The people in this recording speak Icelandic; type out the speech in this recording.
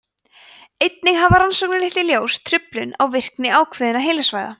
einnig hafa rannsóknir leitt í ljós truflun á virkni ákveðinna heilasvæða